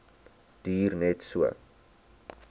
duur net so